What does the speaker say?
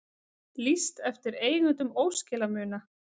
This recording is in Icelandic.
Lýst eftir eigendum óskilamuna